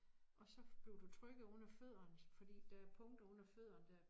Og så bliver du trykket oveni fødderne fordi der punkter under fødderne der